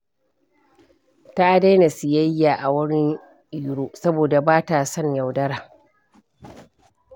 Ta daina siyayya a wurin Iro saboda ba ta son yaudara.